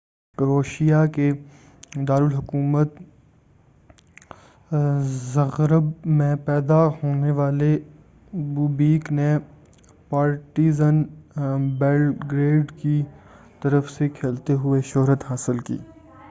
کروشیا کے دارالحکومت زغرب میں پیدا ہونے والے بوبیک نے پارٹیزن بیلگریڈ کی طرف سے کھیلتے ہوئے شہرت حاصل کی تھی